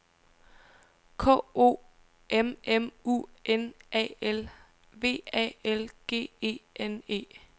K O M M U N A L V A L G E N E